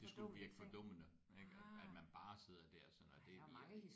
Det skulle virke fordummende ik at man bare sidder der sådan og det er virkelig